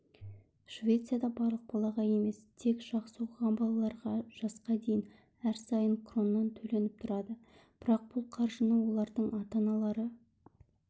швецияда барлық балаға емес тек жақсы оқыған балаларға жасқа дейін әр сайын кроннан төленіп тұрады бірақ бұл қаржыны олардың ата-аналары